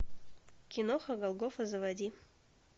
киноха галгофа заводи